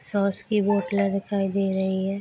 Sauce की बोतले दिखाई दे रही है।